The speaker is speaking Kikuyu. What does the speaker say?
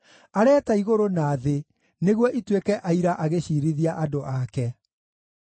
Areeta igũrũ na thĩ nĩguo ituĩke aira agĩciirithia andũ ake: